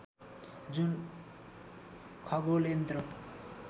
जुन खगोल यन्त्र